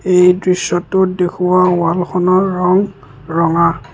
এই দৃশ্যটোত দেখুওৱা ৱালখনৰ ৰং ৰঙা।